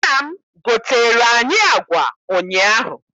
Nna m goteere anyị agwa ụnyaahụ.